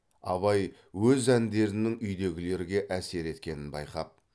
абай өз әндерінің үйдегілерге әсер еткенін байқап